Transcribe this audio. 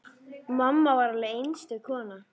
Mamma var alveg einstök kona.